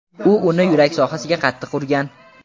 U uni yurak sohasiga qattiq urgan.